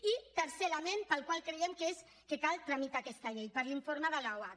i tercer element pel qual creiem que cal tramitar aquesta llei per l’informe de l’oarcc